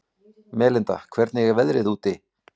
Melinda, hvernig er veðrið úti?